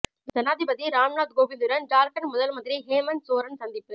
ஜனாதிபதி ராம்நாத் கோவிந்துடன் ஜார்க்கண்ட் முதல் மந்திரி ஹேமந்த் சோரன் சந்திப்பு